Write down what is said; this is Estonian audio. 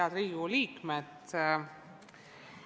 Head Riigikogu liikmed!